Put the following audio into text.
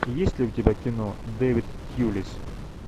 есть ли у тебя кино дэвид тьюлис